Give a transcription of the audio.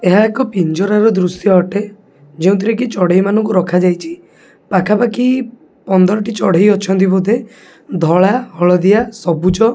ଏହା ଏକ ପିଞ୍ଚରାର ଦୃଶ୍ୟ ଅଟେ। ଯେଉଁଥିରେ କି ଚଢେଇ ମାନ ଙ୍କୁ ରଖାଯାଇଛି। ପାଖାପାଖି ପନ୍ଦର ଟି ଚଢେଇ ଅଛନ୍ତି। ବୋଦେ ଧଳା ହଳଦିଆ ସବୁଜ।